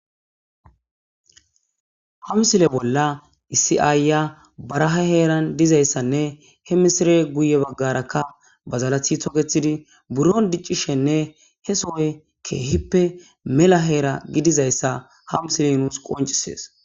Ha missile bola issi ayiy baraha heran dizayisanne he missile guye bagaraka badalati toketidi buron diiccishenne he sohe kehippe mela hera gidizayisa ha missile nus qoncises.